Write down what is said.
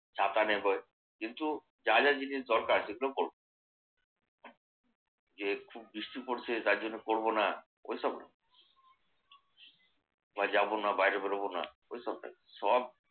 ছাতা নেবার কিন্তু যা যা জিনিস দরকার সেগুলো করবে। যে খুব বৃষ্টি পড়ছে তার জন্যে করবো না ওইসব না। মানে যাবো না, বাইরে বেরোবো না ওইসব নাই সবা